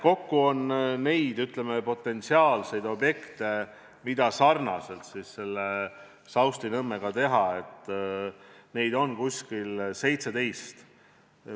Kokku on neid potentsiaalseid objekte, mida sarnaselt Saustinõmmega teha, vist 17.